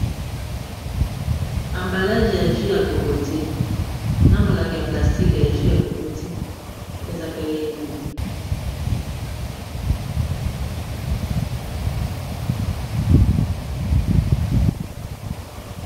ambalage e agi ya kokoti na molangi ya plastique e agi ya kokoti eza kelengi